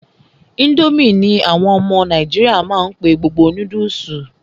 Ińdómì ní àwọn ọmọ nàìjíríà má n pé gbogbo noodles.